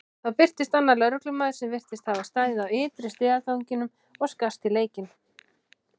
Þá birtist annar lögreglumaður sem virtist hafa staðið á ytri stigaganginum og skarst í leikinn.